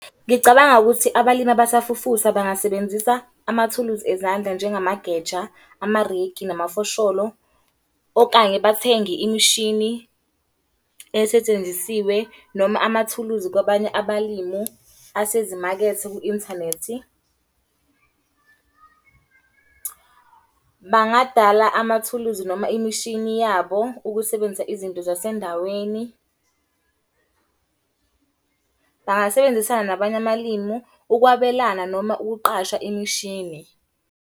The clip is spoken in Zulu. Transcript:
Ngicabanga ukuthi abalimi abasafufusa bangasebenzisa amathuluzi ezandla njengamageja, amarekhi, namafosholo. Okanye bathenge imishini esetshenzisiwe noma amathuluzi kwabanye abalimu asezimakethe ku-inthanethi. Bangadala amathuluzi noma imishini yabo ukusebenzisa izinto zasendaweni. Bangasebenzisana nabanye amalimu ukwabelana noma ukuqasha imishini.